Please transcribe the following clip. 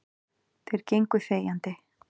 Þeir gengu þegjandi.